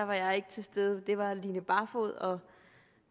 var jeg ikke til stede det var line barfod og